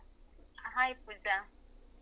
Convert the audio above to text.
Hai Pooja. ಹ ಎಂತ ಮಾಡ್ತಿದೀರಿ?